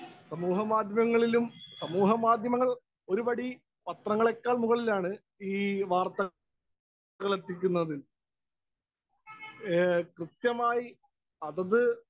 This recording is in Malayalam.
സ്പീക്കർ 1 സമൂഹ മാധ്യമങ്ങളിലും, സമൂഹമാധ്യമങ്ങള്‍ ഒരുപടി പത്രങ്ങളേക്കാള്‍ മുകളിലാണ് ഈ വാര്‍ത്തകള്‍ എത്തിക്കുന്നതില്‍. കൃത്യമായി അതത്